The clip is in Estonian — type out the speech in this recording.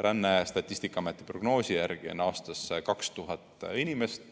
Ränne on Statistikaameti prognoosi järgi aastas 2000 inimest,